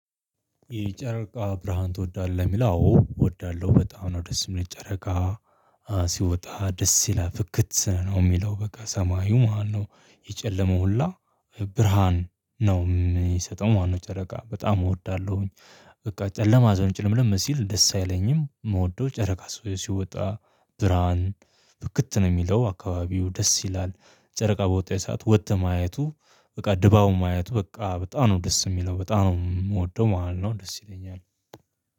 ይህ ጨረቃ ብርሃን ትወዳለህ? የሚልው አዎ እወዳለሁ በጣም ነው። ደስ የሚል ጨረቃ ሲወጣ ደስ ይላል ፍክት ነው የሚለው በቃ ሰማዩ ማለት ነው የጨለመው ሁላ ብርሃን ነው የሚሰጠው ማለት ነው። ጨረቃ በጣም እወዳለሁኝ በቃ ጨለማ እዛው ጭልምልም ሲል ደስ አይለኝም። የምወደው ጨረቃ ሲወጣ ብርሃን ፍክት ነው የሚለው አካባቢው ደስ ይላል። ጨረቃ በወጣች ሰዓት ወጥተህ ማየቱ በቃ ድባቡን ማየቱ በቃ በጣም ነው ደስ የሚለው በጣም ነው የምወደው ማለት ነው ደስ ይለኛል።